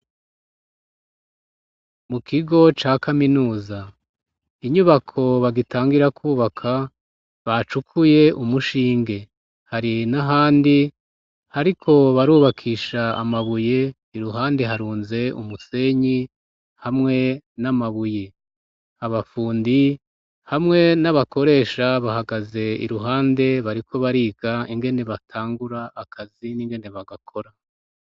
Mu kigo ca kaminuza, inyubako bagitangira kubaka bacukuye umushinge ,hari n'ahandi bariko barubakisha amabuye ,iruhande harunze umusenyi hamwe n'amabuye ,abafundi hamwe n'abakoresha bahagaze iruhande bariko bariga ingene batangura akazi n'ingene bagakora.